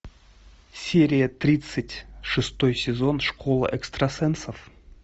серия тридцать шестой сезон школа экстрасенсов